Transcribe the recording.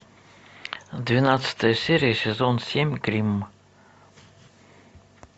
двенадцатая серия сезон семь гримм